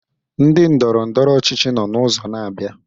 Ndị ndọrọ ndọrọ ọchịchị nno n'ụzọ na-abịa.